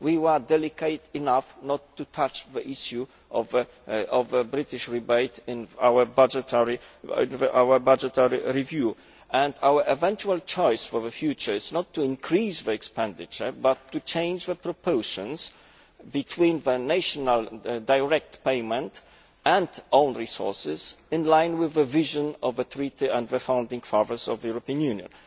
We were delicate enough not to touch the issue of the British rebate in our budgetary review and our eventual choice for the future is not to increase the expenditure but to change the proportions between the national direct payment and own resources, in line with the vision of the treaty and the founding fathers of the European Union.